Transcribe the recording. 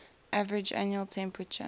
average annual temperature